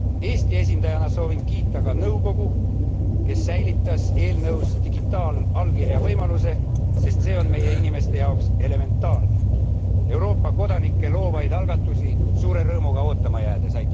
Eesti esindajana soovin kiita ka nõukogu, kes säilitas eelnõus digitaalallkirja võimaluse, sest see on meie inimeste jaoks elementaarne. Euroopa kodanike loovaid algatusi suure rõõmuga ootama jäädes.